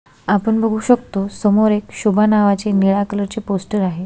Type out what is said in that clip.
आपण बगु शकतो समोर एक शोभा नावाची निळ्या कलरचे पोस्टर आहे.